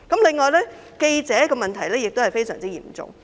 此外，記者的問題也相當嚴重。